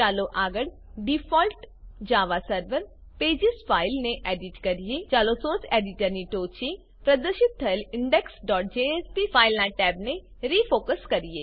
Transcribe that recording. ચાલો આગળ ડિફોલ્ટ જવાસેરવેર પેજેસ ફાઇલ ને એડિટ કરીએ ચાલો સોર્સ એડિટર સોર્સ એડિટર ની ટોંચે પ્રદર્શિત થયેલ indexજેએસપી ફાઈલનાં ટેબને રિફોકસબોલ્ડ ટેક્સ્ટ રીફોકસ કરીએ